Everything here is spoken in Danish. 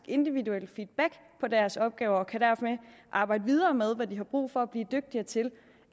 individuelle feedback på deres opgaver og kan derfor ikke arbejde videre med hvad de har brug for at blive dygtigere til